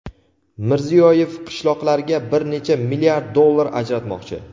Mirziyoyev qishloqlarga bir necha milliard dollar ajratmoqchi.